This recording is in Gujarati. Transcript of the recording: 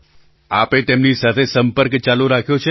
પ્રધાનમંત્રી આપે તેમની સાથે સંપર્ક ચાલુ રાખ્યો છે ને